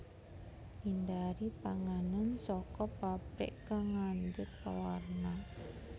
Ngindari panganan saka pabrik kang ngandut pewarna